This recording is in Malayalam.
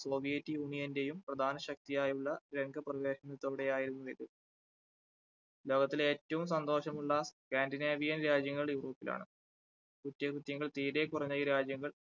സോവിയറ്റ് യൂണിയന്റെയും പ്രധാന ശക്തിയായി ഉള്ള രംഗപ്രവേശനത്തോടെ ആയിരുന്നു ഇത്. ലോകത്തിലെ ഏറ്റവും സന്തോഷമുള്ള scandinavian രാജ്യങ്ങൾ യൂറോപ്പിൽ ആണ് കുറ്റകൃത്യങ്ങൾ തീരെ കുറഞ്ഞ ഈ രാജ്യങ്ങൾ